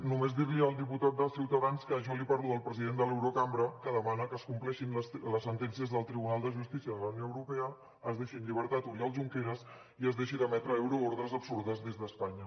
només dir li al diputat de ciutadans que jo li parlo del president de l’eurocambra que demana que es compleixin les sentències del tribunal de justícia de la unió europea es deixi en llibertat oriol junqueras i es deixi d’emetre euroordres absurdes des d’espanya